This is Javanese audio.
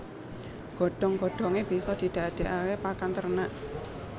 Godhong godhongé bisa didadèkaké pakan ternak